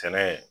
Sɛnɛ